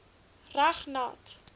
reg nat